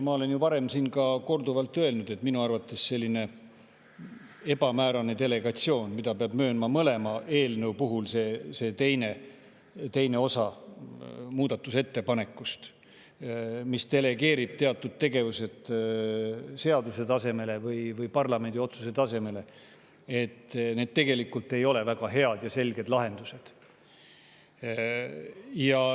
Ma olen ju varem siin ka korduvalt öelnud, et minu arvates selline ebamäärane delegeerimine, mida peab möönma mõlema eelnõu puhul – et teine osa delegeerib teatud tegevused seaduse tasemele või parlamendi otsuse tasemele –, tegelikult ei ole väga hea ja selge lahendus.